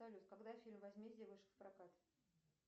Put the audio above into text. салют когда фильм возмездие вышел в прокат